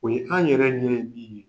O ye an yɛrɛ ɲɛ ye bi.